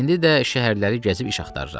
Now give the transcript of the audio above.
İndi də şəhərləri gəzib iş axtarıram.